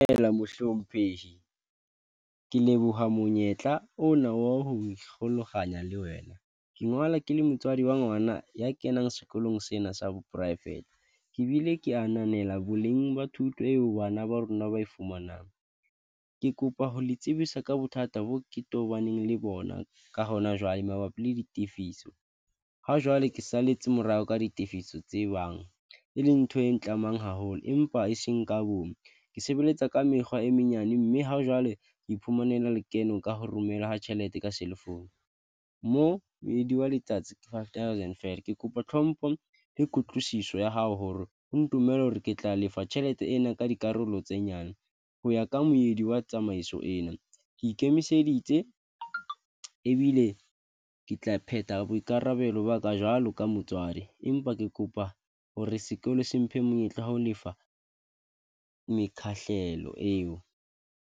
Dumela mohlomphehi ke leboha monyetla ona wa ho le wena ke ngola ke le motswadi wa ngwana ya kenang sekolong sena sa bo poraefete. Ke bile ke ananela boleng ba thuto eo bana ba rona ba e fumanang. Ke kopa ho le tsebisa ka bothata bo ke tobaneng le bona ka hona jwale, mabapi le ditifiso ha jwale ke saletse morao ka ditifiso tse bang, e leng ntho e tlamang haholo, empa e seng ka bomme ke sebeletsa ka mekgwa e menyane, mme ha jwale iphumanela lekeno ka ho romela tjhelete ka cellphone moo moedi wa letsatsi ke five thousand feela. Ke kopa tlhompho le kutlwisiso ya hao hore ho ntumella hore ke tla lefa tjhelete ena ka dikarolo tse nyane ho ya ka moedi wa tsamaiso ena. Ke ikemiseditse ebile ke tla phetha boikarabelo ba ka jwalo ka motswadi, empa ke kopa hore sekolo se mphe monyetla wa ho lefa mekgahlelo eo.